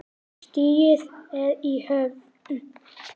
Stigið er í höfn!